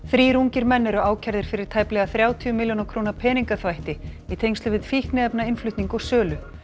þrír ungir menn eru ákærðir fyrir tæplega þrjátíu milljóna króna peningaþvætti í tengslum við fíkniefnainnflutning og sölu